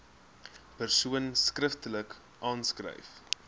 persoon skriftelik aanskryf